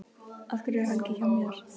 Af hverju er Helgi hjá mér?